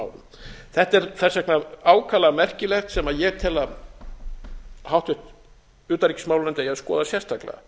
árum þetta er þess vegna ákaflega merkilegt sem ég tel að háttvirtri utanríkismálanefnd eigi a skoða sérstaklega